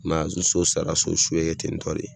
I m'a ye wa, ni so sara , so su bɛ kɛ ten tɔ de.